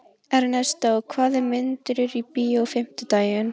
Ernestó, hvaða myndir eru í bíó á fimmtudaginn?